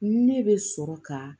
Ne bɛ sɔrɔ ka